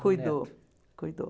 Cuidou, cuidou.